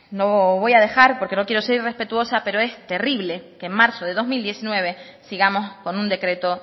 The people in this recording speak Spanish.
bueno lo voy a dejar porque no quiero se irrespetuosa pero es terrible que en marzo de dos mil diecinueve sigamos con un decreto